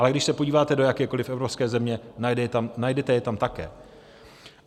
Ale když se podíváte do jakékoliv evropské země, najdete je tam také.